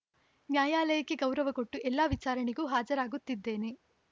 ನ್ಯಾಯಾಲಯಕ್ಕೆ ಗೌರವ ಕೊಟ್ಟು ಎಲ್ಲಾ ವಿಚಾರಣೆಗೂ ಹಾಜರಾಗುತ್ತಿದ್ದೇನೆ